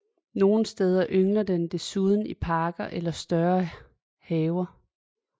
Nogle steder yngler den desuden i parker eller større haver